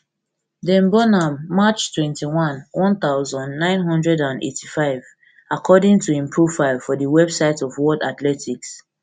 dem born am march twenty-one one thousand, nine hundred and eighty-five according to im profile for di website of world athletics